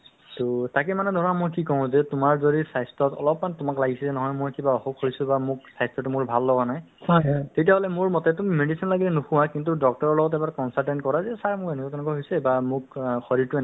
তেওঁলোকক খবৰ ৰাখি তেওঁলোকৰ অৱস লগে লগে refer দিয়ে medical ল'লে to আগত সেই ব্যৱস্থাতো নাছিলে আশা আশা নাছিলে নহয় জানো এতিয়া আশাসকল হ'ল বহুত মানুহ এতিয়া ভাল হৈছে develop হৈছে বুজি পোৱা হৈছে